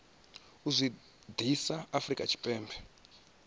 u zwi ḓisa afrika tshipembe